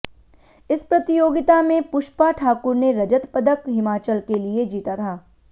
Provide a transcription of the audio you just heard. इस प्रतियोगिता में पुष्पा ठाकुर ने रजत पदक हिमाचल के लिए जीता था